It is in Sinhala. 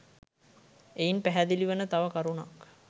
එයින් පැහැදිලි වන තව කරුණක්